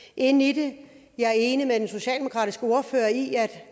ind i det jeg er enig med den socialdemokratiske ordfører i at